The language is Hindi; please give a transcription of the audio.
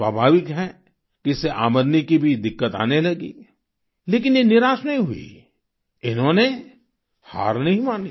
स्वाभाविक है कि इससे आमदनी की भी दिक्कत आने लगी लेकिन ये निराश नहीं हुईं इन्होंने हार नहीं मानी